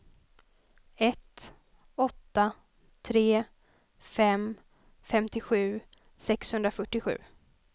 ett åtta tre fem femtiosju sexhundrafyrtiosju